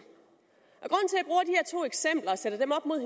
eksempler og sætter dem op mod